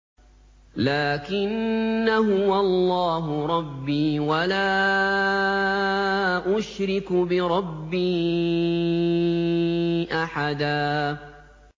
لَّٰكِنَّا هُوَ اللَّهُ رَبِّي وَلَا أُشْرِكُ بِرَبِّي أَحَدًا